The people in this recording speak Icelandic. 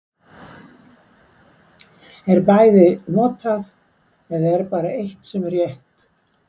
Er bæði notað, eða er bara eitt sem er rétt.